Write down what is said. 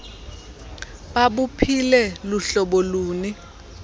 babuphile luhlobo luni